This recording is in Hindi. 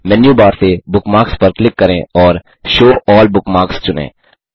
मेनू बार से बुकमार्क्स पर क्लिक करें और शो अल्ल बुकमार्क्स चुनें